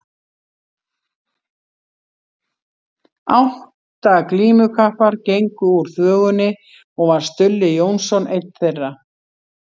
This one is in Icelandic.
Átta glímukappar gengu úr þvögunni og var Stulli Jónsson einn þeirra.